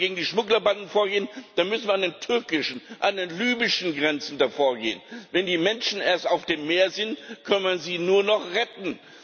Wenn wir gegen die Schmugglerbanden vorgehen, dann müssen wir an den türkischen, an den libyschen Grenzen dagegen vorgehen. Wenn die Menschen erst auf dem Meer sind, kann man sie nur noch retten.